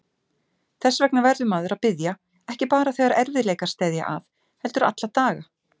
Þess vegna verður maður að biðja, ekki bara þegar erfiðleikar steðja að heldur alla daga.